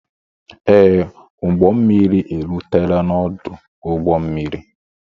Ee, m ụgbọ mmiri erutela n'ọdụ ụgbọ mmiri